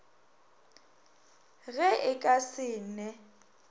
ge e ka se ne